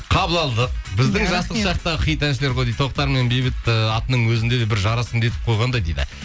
қабыл алдық біздің жастық шақтағы хит әншілер ғой дейді тоқтар мен бейбіт ыыы атының өзінде де бір жарасымды етіп қойғандай дейді